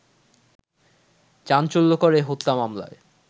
চাঞ্চল্যকর এ হত্যা মামলায়